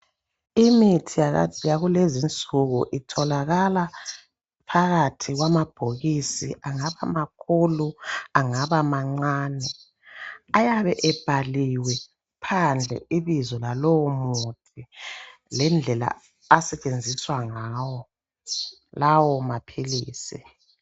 Imithi yakulezi insuku itholakala phakathi kwamabhokisi angaba makhulu angaba mancane, ayabe ebhaliwe phandle ibizo lalowo muthi lendlela asetshenziswa ngawo lawo maphilisi.